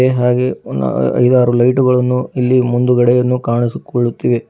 ಹಾಗೇ ಅ ಐದಾರು ಲೈಟು ಗಳನ್ನು ಇಲ್ಲಿ ಮುಂದುಗಡೆಯನ್ನು ಕಾಣಿಸುಕೊಳ್ಳುತ್ತಿವೆ.